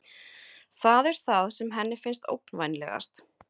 Það er það sem henni finnst ógnvænlegast.